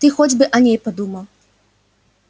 ты хоть бы о ней подумал